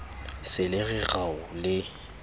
se le re rao le